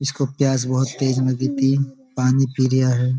इसको प्यास बहुत तेज लगी थी। पानी पी रिहा है।